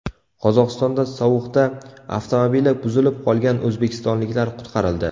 Qozog‘istonda sovuqda avtomobili buzilib qolgan o‘zbekistonliklar qutqarildi.